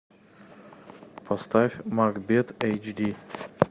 поставь макбет эйч ди